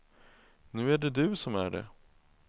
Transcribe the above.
Nu är det du som är det.